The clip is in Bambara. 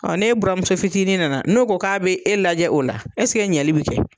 n'e bura muso fitinin na na n'o ko k'a bɛ e lajɛ o la ɲali bɛ kɛ.